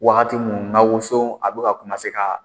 Wagati mun n ga woso a bɛ ka ka